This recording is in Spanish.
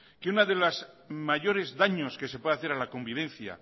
que una de los mayores daños que se puede hacer a la convivencia